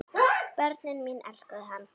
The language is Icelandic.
Börnin mín elskuðu hann.